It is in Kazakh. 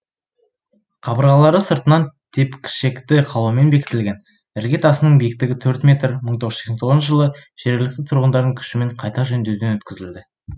қабырғалары сыртынан тепкішекті қалаумен бекітілген ірге тасының биіктігі төрт метр мың тоғыз жүз сексен тоғызыншы жылы жергілікті тұрғындардың күшімен қайта жөндеуден өткізілді